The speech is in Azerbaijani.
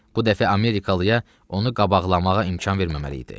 Bu dəfə Amerikalıya onu qabaqlamağa imkan verməməli idi.